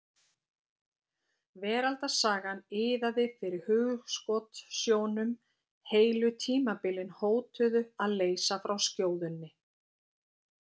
Veraldarsagan iðaði fyrir hugskotssjónum, heilu tímabilin hótuðu að leysa frá skjóðunni.